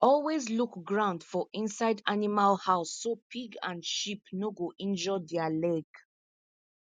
always look ground for inside animal house so pig and sheep no go injure their leg